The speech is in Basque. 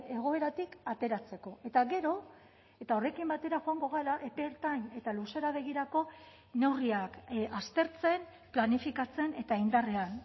egoeratik ateratzeko eta gero eta horrekin batera joango gara epe ertain eta luzera begirako neurriak aztertzen planifikatzen eta indarrean